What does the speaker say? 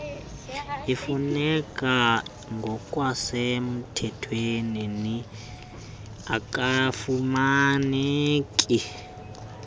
ifuneka ngokwasemthethweni akafumaneki